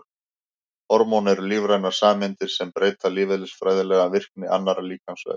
Hormón eru lífrænar sameindir sem breyta lífeðlisfræðilega virkni annarra líkamsvefja.